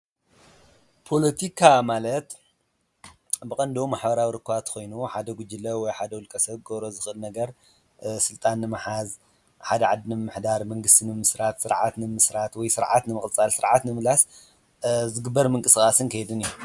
ፖሎቲካ ማለት ብቐንዱ ማሕበራዊ ርክባት ኾይኑ ሓደ ጕጅለ ወይ ሓደ ውልቀ ሰብ ክገብሮ ዝኽእል ነገር ስልጣን ንመሓዝ ሓደ ዓዲ ንምምሕዳር ፣መንግስቲ ንምምስራት፣ ስርዓት ንምምስራት ወይ ስርዓት ንምቕጻል፣ ስርዓት ንምምላስ ዝግበር ምንቅ ሰቓስን ከይድን እዩ፡፡